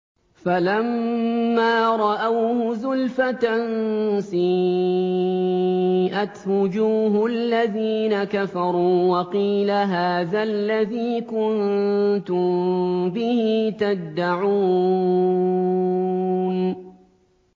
فَلَمَّا رَأَوْهُ زُلْفَةً سِيئَتْ وُجُوهُ الَّذِينَ كَفَرُوا وَقِيلَ هَٰذَا الَّذِي كُنتُم بِهِ تَدَّعُونَ